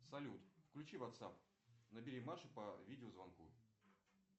салют включи вацап набери маше по видеозвонку